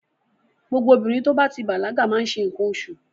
Gbogbo obìnrin tó bá ti bàlágà má ń ṣe nǹkan oṣù.